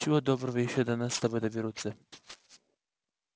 чего доброго ещё до нас с тобой доберутся